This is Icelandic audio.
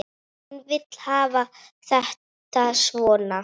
Hún vill hafa þetta svona.